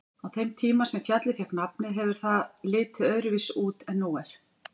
Á þeim tíma sem fjallið fékk nafnið hefur það litið öðruvísi út en nú er.